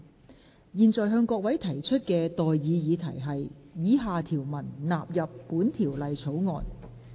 我現在向各位提出的待議議題是：以下條文納入本條例草案。